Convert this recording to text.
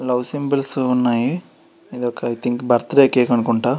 Love symbols ఉన్నాయి ఇది ఒక ఐ థింక్ బర్త్డే కేక్ అనుకుంట.